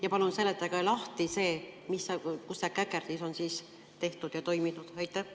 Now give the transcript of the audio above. Ja palun seletage lahti, kus see käkerdis on tehtud ja toiminud?